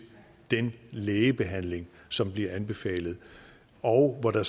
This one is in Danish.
den lægebehandling som bliver anbefalet og hvor der